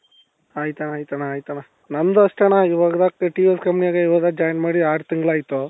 ಆಯ್ತಣ್ಣ ಆಯ್ತಣ್ಣ ಆಯ್ತಣ್ಣ ನಂದು ಅಷ್ಟೆಣ್ಣ ಇವಾಗ TVS companyಗೆ ಇವಾಗ join ಮಾಡಿ ಆರು ತಿಂಗಳಾಯ್ತು.